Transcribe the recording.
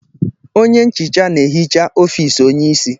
Onye nchicha na-ehicha ọfis onyeisi.